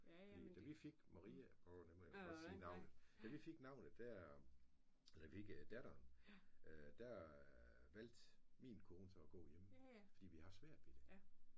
Fordi da vi fik Maria det må jeg vel godt sige navnet da vi fik navnet der eller da vi fik datteren der valgte min kone så at gå hjemme fordi vi havde haft svært ved det